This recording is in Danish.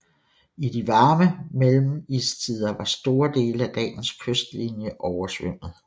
I de varme mellemistider var store dele af dagens kystlinje oversvømmet